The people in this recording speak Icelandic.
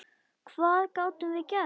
Hvað gátum við gert?